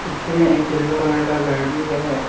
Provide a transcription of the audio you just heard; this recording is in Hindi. पीछे में एक येलो कलर का घर भी है।